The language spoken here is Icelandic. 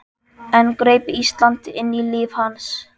Enn greip Ísland inn í líf hans.